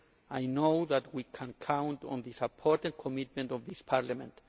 I know that we can count on the support and commitment of this Parliament.